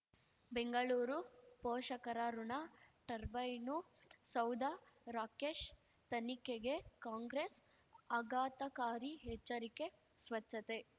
ಬೆಂಗಳೂರು ಪೋಷಕರಋಣ ಟರ್ಬೈನು ಸೌಧ ರಾಕೇಶ್ ತನಿಖೆಗೆ ಕಾಂಗ್ರೆಸ್ ಆಘಾತಕಾರಿ ಎಚ್ಚರಿಕೆ ಸ್ವಚ್ಛತೆ